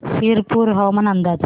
शिरपूर हवामान अंदाज